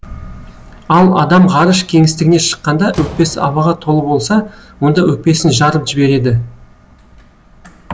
ал адам ғарыш кеңістігіне шыққанда өкпесі ауаға толы болса онда өкпесін жарып жібереді